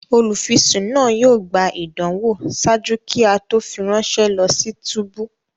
Olufisun naa yóò gbà ìdánwò ṣáájú kí a to fi ránṣẹ lọ si túbú